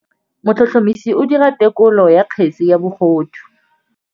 Motlhotlhomisi o dira têkolô ya kgetse ya bogodu.